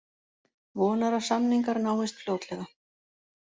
Vonar að samningar náist fljótlega